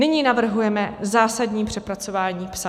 Nyní navrhujeme zásadní přepracování "psa".